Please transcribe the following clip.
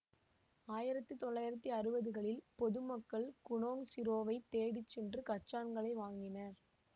ஆயிரத்தி தொள்ளாயிரத்தி அறுபதுகளில் பொது மக்கள் குனோங் சிரோவைத் தேடி சென்று கச்சான்களை வாங்கினர்